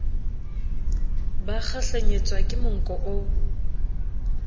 ba kgahlenyetswa ke monko o